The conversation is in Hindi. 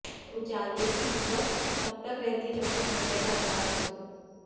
उजाले की इज्जत तब तक रहती है जबतक अंधेरे का अहसास हो